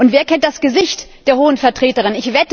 Wer kennt das Gesicht der Hohen Vertreterin?